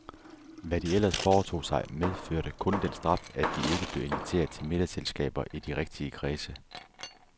Hvad de ellers foretog sig, medførte kun den straf, at de ikke blev inviteret til middagsselskaber i de rigtige kredse.